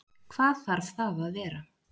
Hvað þarf það að vera?